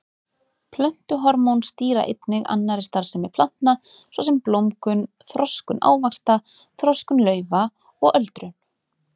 Plöntuhormón stýra einnig annarri starfsemi plantna svo sem blómgun, þroskun ávaxta, þroskun laufa og öldrun.